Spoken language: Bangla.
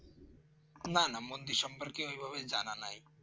না না মন্দির সম্পর্কে ওভাবে জানা নাই